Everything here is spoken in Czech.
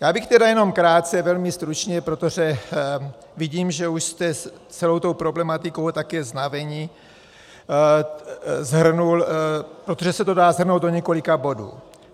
Já bych tedy jenom krátce, velmi stručně, protože vidím, že už jste celou tou problematikou také znaveni, shrnul, protože se to dá shrnout do několika bodů.